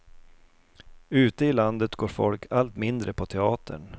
Ute i landet går folk allt mindre på teatern.